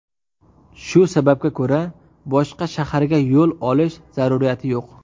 Shu sababga ko‘ra boshqa shaharga yo‘l olish zaruriyati yo‘q.